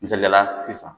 Misaliyala sisan